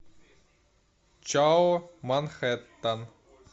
чао манхэттан